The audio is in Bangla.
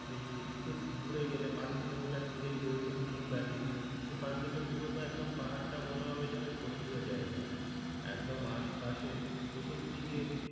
ওই একটু দূরে গেলে পাঁচ কিলোমিটার দূরেই রয়েছে গ্রীন ভ্যালি ওখান থেকে পুরোতো একদম পাহাড়টা মনে হবে যেন স্বর্গীয় জায়গা একদম আশপাশের চতুর্দিকে,